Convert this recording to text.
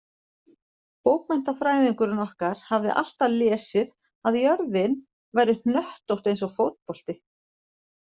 Bókmenntafræðingurinn okkar hafði alltaf lesið að jörðin væri hnöttótt eins og fótbolti.